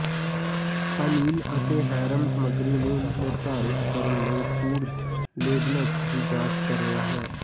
ਹਾਲੀਲ ਅਤੇ ਹੈਰਮ ਸਮੱਗਰੀ ਨੂੰ ਨਿਰਧਾਰਤ ਕਰਨ ਲਈ ਫੂਡ ਲੇਬਲਸ ਦੀ ਜਾਂਚ ਕਰ ਰਿਹਾ ਹੈ